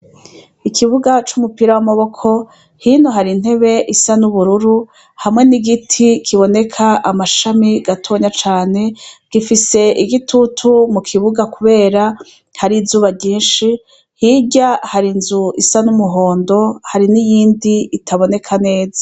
Ikibuga c'umupira w'amaboko hinu hari intebe isa n'ubururu hamwe n'igiti kiboneka amashami gatonya cane gifise igitutu mu kibuga, kubera hari izuba ryinshi hirya hari nzu isa n'umuhondo hari n'iyindi itaboneka neza.